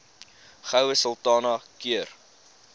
goue sultana keur